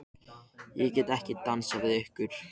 Ég get ekki dansað við ykkur.